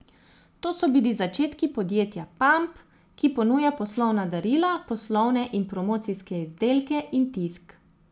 To so bili začetki podjetja Pamp, ki ponuja poslovna darila, poslovne in promocijske izdelke in tisk.